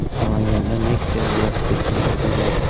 Namanganda Nexia velosipedchini urib yubordi.